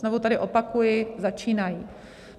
Znovu tady opakuji: začínají.